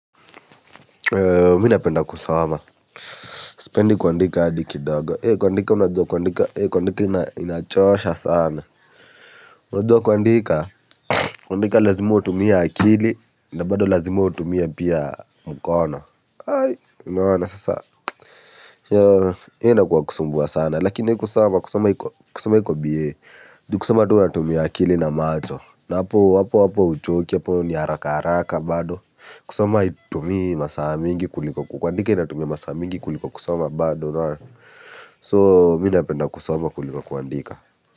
Mimi napenda kusoma, sipendi kuandika hadi kidogo, kuandika unajua kuandika, kuandika inachoosha sana. Unajua kuandika, kuandika lazima utumia akili, nabado lazima utumia pia mkono, unaona sasa. Hio inakua kusumbua sana lakini kusoma kusoma iko bie. Kusoma tu unatumia akili na macho. Na hapo hapo huchoki hapo ni haraka haraka bado. Kusoma haitumi masaa mingi kuliko kukuandika inatumia masaa mingi kuliko kusoma bado So mimi napenda kusoma kuliko kuandika.